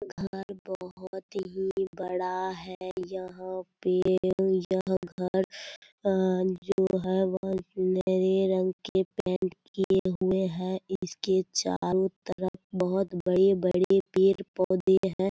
घर बहुत ही बड़ा है यह पेड़ यह घर जो है वह सुनहरे रंग के पैंट किये हुए हैं इसके चारों तरफ बहुत बड़े-बड़े पेड़-पौधे हैं।